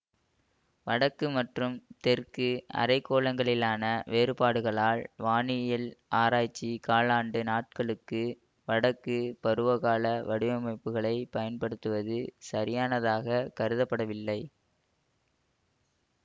வடக்கு மற்றும் தெற்கு அரைக்கோளங்களிலான வேறுபாடுகளால் வானியல் ஆராய்ச்சி காலாண்டு நாட்களுக்கு வடக்குபருவகால வடிவமைப்புகளை பயன்படுத்துவது சரியானதாக கருதப்படவில்லை